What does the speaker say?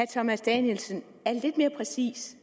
thomas danielsen er lidt mere præcis